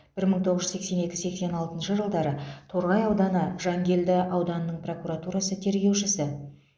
бір мың тоғыз жүз сексен екі сексен алтыншы жылдары торғай ауданы жангелді ауданының прокуратурасы тергеушісі